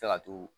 Fɛ ka t'u